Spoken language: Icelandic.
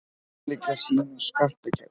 Ólík sýn á skattkerfið